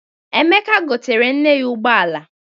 Emeka goteere nne ya ụgbọala.